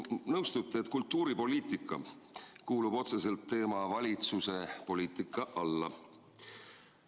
Te kindlasti nõustute, et kultuuripoliitika kuulub otseselt teema "valitsuse poliitika" alla.